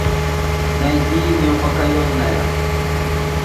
найти неупокоенная